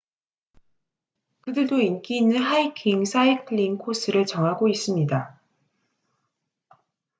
그들도 인기 있는 하이킹 사이클링 코스를 정하고 있습니다